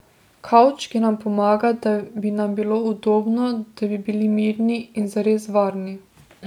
Kavč, ki nam pomaga, da bi nam bilo udobno, da bi bili mirni in zares varni.